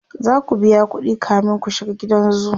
zaku biya ƙuɗi kamin ku shiga gidan zoo